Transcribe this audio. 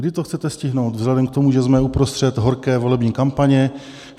Kdy to chcete stihnout, vzhledem k tomu, že jsme uprostřed horké volební kampaně?